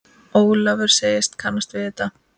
Ólafur segist kannast við þetta.